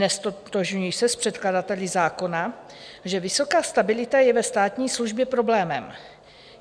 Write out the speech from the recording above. Neztotožňuji se s předkladateli zákona, že vysoká stabilita je ve státní službě problémem.